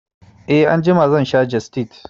E, Anjima za sha jestid